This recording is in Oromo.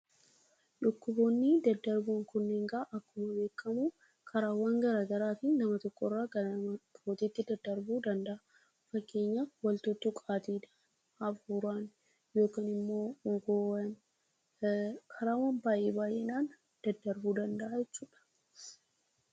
Dhukkuboonni daddarboon kun egaa akkuma beekamu karaawwan garaagaraatiin nama tokko irraa gara nama biraatti daddarbuu danda'u. Fakkeenyaaf wal tuttuuqqaan, hafuuraan fi karaawwan baay'ee baay'een daddarbuu danda'u jechuudha.